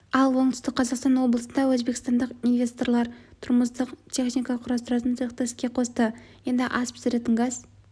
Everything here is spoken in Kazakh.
ал оңтүстік қазақстан облысында өзбекстандық инвесторлар тұрмыстық техника құрастыратын цехты іске қосты енді ас пісіретін газ